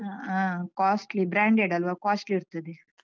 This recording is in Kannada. ಹಾ costly branded ಅಲ್ವಾ costly ಇರ್ತದೆ.